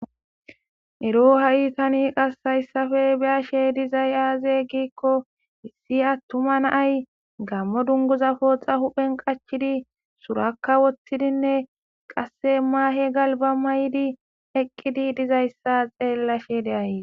Ero ha'i tani qasayssafe biyashe dizay aaze giikko issi attuma naay gammo dunguza pooxa huphen qachidi surakka woththidinne qasse maahe galba may7di eqqidi dizayssa xeellashe deaye